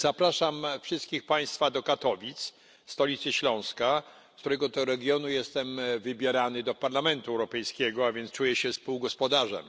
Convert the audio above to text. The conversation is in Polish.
Zapraszam wszystkich Państwa do Katowic, stolicy Śląska, z którego to regionu jestem wybierany do Parlamentu Europejskiego, a więc czuję się współgospodarzem.